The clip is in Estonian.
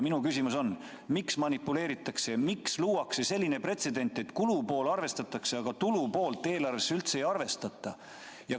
Minu küsimus on: miks niimoodi manipuleeritakse ja miks luuakse selline pretsedent, et kulupoolt arvestatakse, aga tulupoolt eelarves üldse ei kajastata?